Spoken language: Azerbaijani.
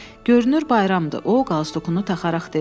Görünür bayramdır, o qalduğunu taxaraq dedi.